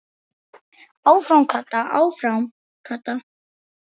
Áfram Kata, áfram Kata!